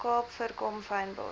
kaap voorkom fynbos